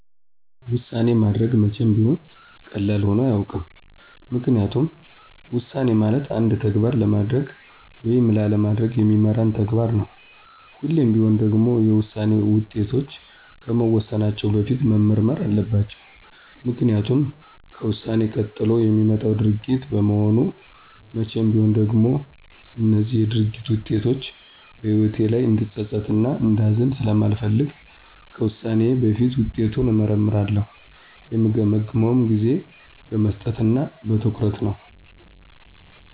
ውሳኔ ማድረግ መቼም ቢሆን ቀላል ሆኖ አያውቅም። ምክንያቱም ውሳኔ ማለት አንድን ተግባር ለማድረግ ወይም ላለማድረግ የሚመራን ተግባር ነው። ሁሌም ቢሆን ደግሞ የውሳኔ ውጤቶች ከመወሰናቸው በፊት መመርመር አለባቸው። ምክኒያቱም ከውሳኔ ቀጥሎ የሚመጣው ድርጊት በመሆኑ መቼም ቢሆን ደግሞ እነዚህ የድርጊት ውጤቶች በህይወቴ ላይ እንድፀፀት እና እንዳዝን ስለማልፈልግ ከውሳኔዬ በፊት ውጤቱን እመረረምራለሁ። የምገመግመውም ጊዜ በመስጠት እና በትኩረት ነው።